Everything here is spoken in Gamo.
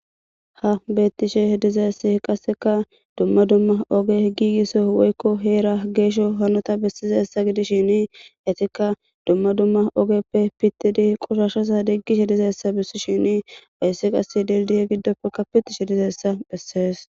ha bettishe dizassi qasseka dumma dumma oge giigiso woykko heera geesho hanota bessizessa gidishini etikka dumma dumma ogeppe pittidi qushashosa diggishe dizeessa bissi shini payssi qasse deldiye giddoppekka pitishe dizayssa bessees